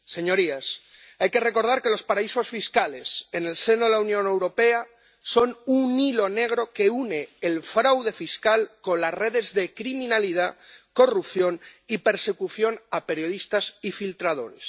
Señorías, hay que recordar que los paraísos fiscales en el seno de la Unión Europea son un hilo negro que une el fraude fiscal con las redes de criminalidad, corrupción y persecución a periodistas y filtradores.